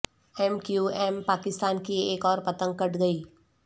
M Q M Pakistan کی ایک اور پتنگ کٹ گئی